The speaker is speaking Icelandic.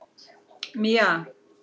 Mía